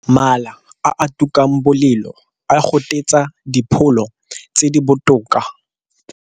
Mala a a tukang bolelo a gotetsa dipholo tse di botoka.